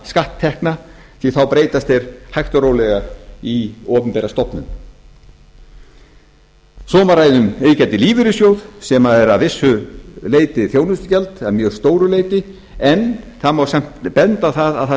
skatttekna því að þá breytast þeir hægt og rólega í opinbera stofnun svo má ræða um iðgjald í lífeyrissjóð sem er að vissu leyti þjónustugjald eða mjög stóru leyti en það má samt benda á það að það